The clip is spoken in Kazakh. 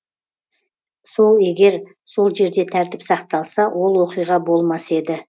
сол егер сол жерде тәртіп сақталса ол оқиға болмас еді